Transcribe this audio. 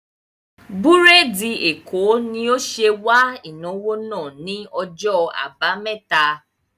Búrèdì Èkó ni ó ṣe wà ìnáwó náà ni ọjọ́ àbámẹ́ta